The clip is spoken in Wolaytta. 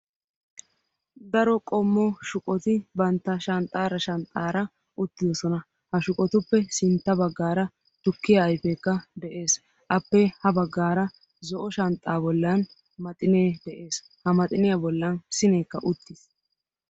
aro qommo shuqqoti bantta shanxxara shanxxara uttidoosona. ha shuqqotuppe sintta baggara tukkiya ayfekka de'ees. appe ha baggara zo'o shanxxa bollan maxxine de'ees. ha maxxiniya bollan sinekka uttiis.